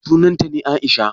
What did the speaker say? Sunanta ne Aisha?